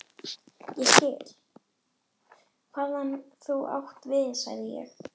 Ég skil, hvað þú átt við sagði ég.